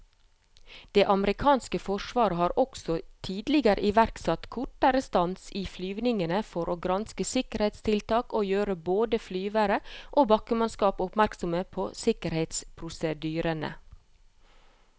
Det amerikanske forsvaret har også tidligere iverksatt kortere stans i flyvningene for å granske sikkerhetstiltak og gjøre både flyvere og bakkemannskap oppmerksomme på sikkerhetsprosedyrene.